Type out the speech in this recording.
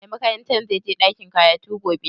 Mai makarantar zai je ɗakin karatu gobe?